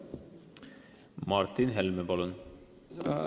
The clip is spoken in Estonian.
Martin Helme, palun!